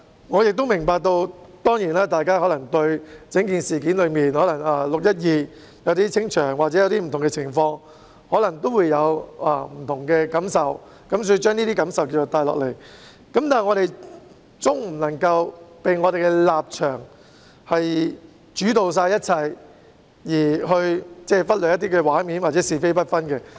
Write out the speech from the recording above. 我明白到，大家對於整件事——例如6月12日的清場行動或不同的情況——可能會有不同的感受，因而將這些感受帶入議會，但我們總不能被本身的立場主導一切，而忽略一些畫面或者是非不分。